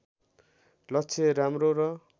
लक्ष्य राम्रो र